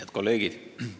Head kolleegid!